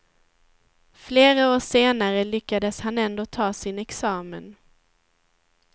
Flera år senare lyckades han ändå ta sin examen.